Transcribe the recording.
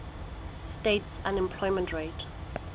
states unemployment rate